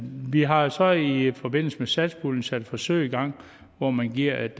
vi har så i forbindelse med satspuljen sat et forsøg i gang hvor man giver et